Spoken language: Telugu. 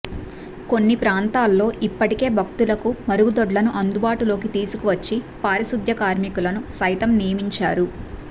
కొన్ని ప్రాంతాల్లో ఇప్పటికే భక్తులకు మరుగుదొడ్లను అందుబాటులోకి తీసుకువచ్చి పారిశుధ్య కార్మికులను సైతం నియమించా రు